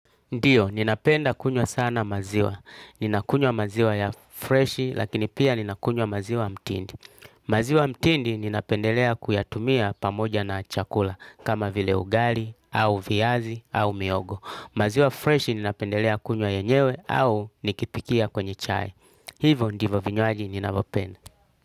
Ndiyo, ninapenda kunywa sana maziwa. Ninakunywa maziwa ya freshi, lakini pia ninakunywa maziwa mtindi. Maziwa mtindi ninapendelea kuyatumia pamoja na chakula, kama vile ugali, au viazi, au mihogo. Maziwa freshi ninapendelea kunywa yenyewe au nikipikia kwenye chai. Hivyo ndivyo vinywaji ninavyopenda.